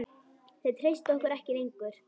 Þeir treysta okkur ekki lengur.